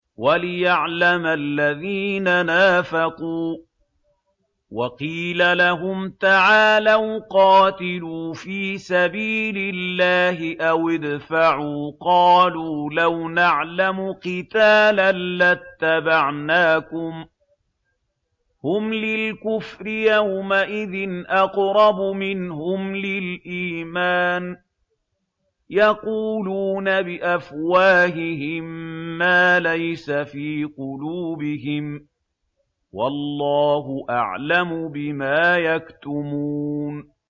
وَلِيَعْلَمَ الَّذِينَ نَافَقُوا ۚ وَقِيلَ لَهُمْ تَعَالَوْا قَاتِلُوا فِي سَبِيلِ اللَّهِ أَوِ ادْفَعُوا ۖ قَالُوا لَوْ نَعْلَمُ قِتَالًا لَّاتَّبَعْنَاكُمْ ۗ هُمْ لِلْكُفْرِ يَوْمَئِذٍ أَقْرَبُ مِنْهُمْ لِلْإِيمَانِ ۚ يَقُولُونَ بِأَفْوَاهِهِم مَّا لَيْسَ فِي قُلُوبِهِمْ ۗ وَاللَّهُ أَعْلَمُ بِمَا يَكْتُمُونَ